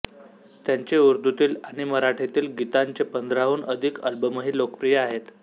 त्यांचे उर्दूतील आणि मराठीतील गीतांचे पंधराहून अधिक आल्बमही लोकप्रिय आहेत